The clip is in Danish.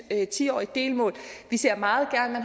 tiårigt delmål vi ser meget gerne